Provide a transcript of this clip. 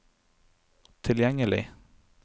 tilgjengelig